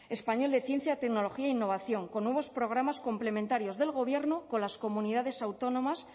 español de ciencia tecnología e innovación con nuevos programas complementarios del gobierno con las comunidades autónomas